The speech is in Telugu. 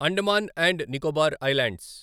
Andaman and Nicobar islands